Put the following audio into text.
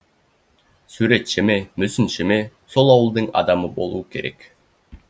суретші ме мүсінші ме сол ауылдың адамы болуы керек